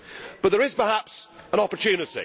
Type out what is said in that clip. But there is perhaps an opportunity